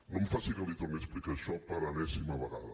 no em faci que li torni a explicar això per enèsima vegada